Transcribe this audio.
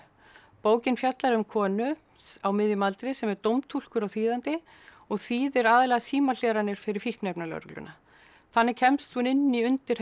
bókin fjallar um konu á miðjum aldri sem er dómtúlkur og þýðandi og þýðir aðallega símahleranir fyrir fíkniefnalögregluna þannig kemst hún inn í undirheima